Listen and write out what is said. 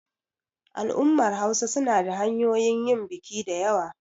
al'ummar Hausa suna da hanyoyin biki da yawa